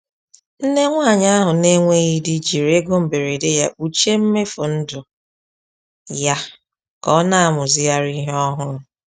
Nne nwanyị ahụ na-enweghị di jiri ego mberede ya kpuchie mmefu ndụ ya ka ọ na-amụzigharị ihe ọhụrụ.